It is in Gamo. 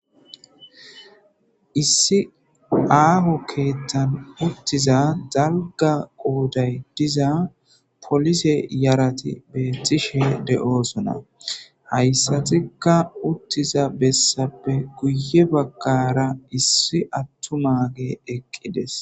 Issi aho kethan utiza dalga qoday diza polise yarati betishe de'osona haysatikka utiza besapeka guye bagara issi atumage eqides.